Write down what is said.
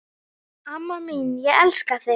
Amma mín, ég elska þig.